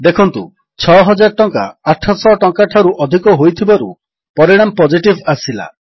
ଦେଖନ୍ତୁ 6000 ଟଙ୍କା 800 ଟଙ୍କାଠାରୁ ଅଧିକ ହୋଇଥିବାରୁ ପରିଣାମ ପୋଜିଟିଭ୍ ଆସିଲା